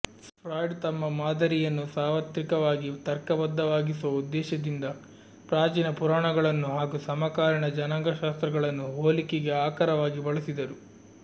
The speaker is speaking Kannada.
ಫ್ರಾಯ್ಡ್ ತಮ್ಮ ಮಾದರಿಯನ್ನು ಸಾರ್ವತ್ರಿಕವಾಗಿ ತರ್ಕಬದ್ಧವಾಗಿಸುವ ಉದ್ದೇಶದಿಂದ ಪ್ರಾಚೀನ ಪುರಾಣಗಳನ್ನು ಹಾಗೂ ಸಮಕಾಲೀನ ಜನಾಂಗಶಾಸ್ತ್ರಗಳನ್ನು ಹೋಲಿಕೆಗೆ ಆಕರವಾಗಿ ಬಳಸಿದರು